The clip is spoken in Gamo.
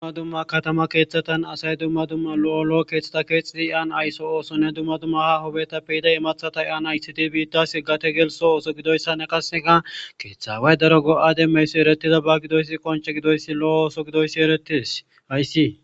Duma duma katama keththatan asayi duma duma lo'o keththata kexxidi iyan ayisso ossone duma duma aaho bottappe yida immaththata iyan ayssite biitas gate gelliso osso giddoyisanne qaseka keththa awayi daro go'a demiyayis etretidaba giddoysi qoncce giddoyisi loo ooso giddoyisi eretes hayissi.